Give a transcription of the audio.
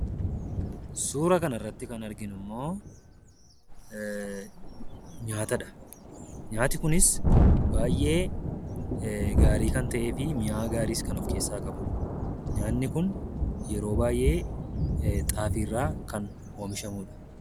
Suuraa kanarratti kan arginu immoo, nyaatadha. Nyaati kunis baay'ee gaarii kan ta'ee fi mi'aa gaariis kan of-keessa qabudha. nyaanni kun yeroo baay'ee xaafii irraa kan oomishamudha.